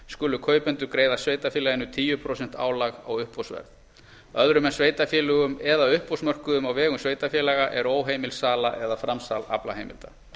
skulu kaupendur greiða sveitarfélaginu tíu prósent álag á uppboðsverð öðrum en sveitarfélögum eða uppboðsmörkuðum á vegum sveitarfélaga er óheimil sala eða framsal aflaheimilda